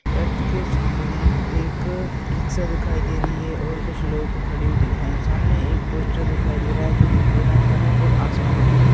church के सामने एक रिक्शा दिखाई दे रही है और कुछ लोग खड़े हुए दिख रहे हैं सामने एक पोस्टर दिखाई दे रहा है जो पीले रंग का है और आसमान दिखाई --